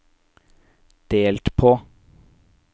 delt på